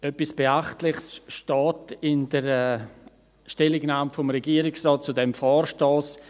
Etwas Beachtliches steht in der Stellungnahme des Regierungsrates zum Vorstoss: